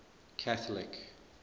catholic